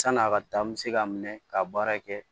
San'a ka taa n bɛ se k'a minɛ ka baara kɛ